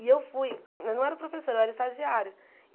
E eu fui, mas não era professora, era estagiária.